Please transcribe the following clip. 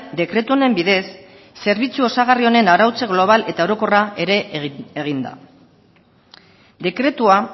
dekretu honen bidez zerbitzu osagarri honen arautze global eta orokorra ere egin da dekretua